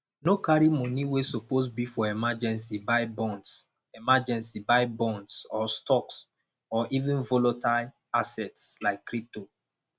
no carry money wey suppose be for emergency buy bonds emergency buy bonds or stocks or even volatile assets like crypto